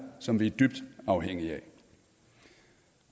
som vi er dybt afhængige af